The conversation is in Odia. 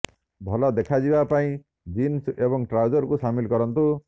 ଭଲ ଦେଖାଯିବା ପାଇଁ ଜିନ୍ସ ଏବଂ ଟ୍ରାଉଜରକୁ ସାମିଲ କରନ୍ତୁ